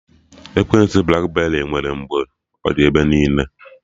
Ekwentị blakberị nwere mgbe ọ dị ebe niile